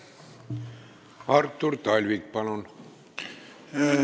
Artur Talvik, palun!